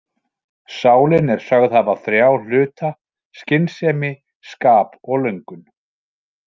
Sálin er sögð hafa þrjá hluta, skynsemi, skap og löngun.